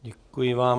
Děkuji vám.